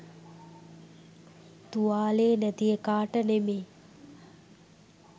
තුවාලේ නැති එකාට නෙමේ.